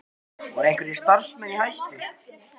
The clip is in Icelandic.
Magnús Hlynur Hreiðarsson: Voru einhverjir starfsmenn í hættu?